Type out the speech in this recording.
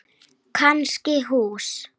Kannski hús.